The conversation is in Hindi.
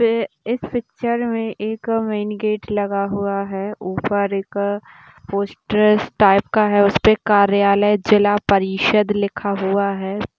इस पिक्चर मे एक मैन गेट लगा हुआ है ऊपर एक पोस्टर्स टाइप का है यहां पे कार्यालय जिला परिषद लिखा हुआ है।